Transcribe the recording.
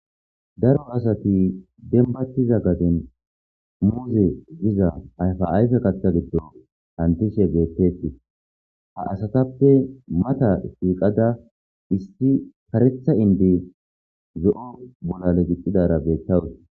Daro asati denbahtiza gaden muuze diza ayfa ayfe kaththa giddo hantishe beetteti ha asatappe mata tiiqada isti karetha indi zo'o bolale gixidara beettawus.